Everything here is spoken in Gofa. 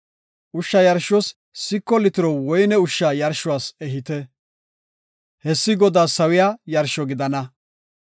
Ushsha yarshuwas siko litiro woyne ushsha yarshuwas ehite. Hessi Godaas sawiya yarsho gidana.